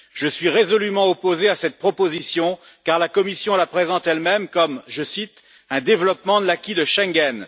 Je suis résolument opposé à cette proposition, car la Commission la présente elle même comme, je cite un développement de l'acquis de Schengen.